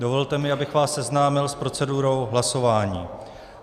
Dovolte mi, abych vás seznámil s procedurou hlasování.